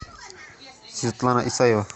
светлана исаева